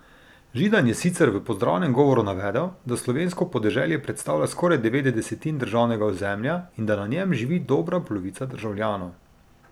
Židan je sicer v pozdravnem govoru navedel, da slovensko podeželje predstavlja skoraj devet desetin državnega ozemlja in da na njem živi dobra polovica državljanov.